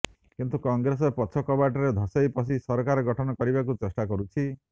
କିନ୍ତୁ କଂଗ୍ରେସ୍ ପଛ କବାଟରେ ଧସେଇ ପଶି ସରକାର ଗଠନ କରିବାକୁ ଚେଷ୍ଟା କରୁଛି